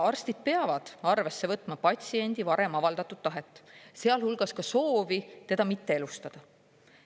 Arstid peavad arvesse võtma patsiendi varem avaldatud tahet, sealhulgas soovi teda mitte elustada.